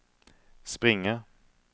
springer